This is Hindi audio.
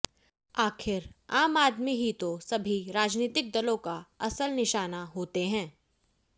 आखिर आम आदमी ही तो सभी राजनीतिक दलों का असल निशाना होते हैं